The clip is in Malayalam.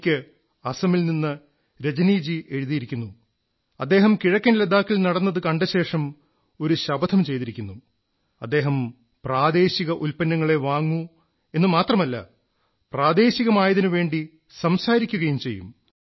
എനിക്ക് അസമിൽ നിന്ന് രജനിജീ എഴുതിയിരിക്കുന്നു അദ്ദേഹം കിഴക്കൻ ലഡാക്കിൽ നടന്നത് കണ്ടശേഷം ഒരു ശപഥം ചെയ്തിരിക്കുന്നു അദ്ദേഹം പ്രാദേശിക ഉത്പന്നങ്ങളേ വാങ്ങൂ എന്നു മാത്രമല്ല പ്രാദേശികമായതിനുവേണ്ടി സംസാരിക്കയും ചെയ്യും